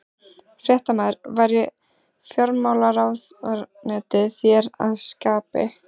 Fréttamaður: Væri fjármálaráðuneytið þér að skapi?